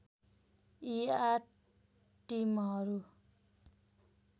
यी आठ टिमहरू